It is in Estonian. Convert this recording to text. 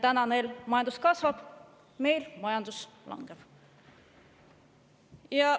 Täna neil majandus kasvab, meil majandus langeb.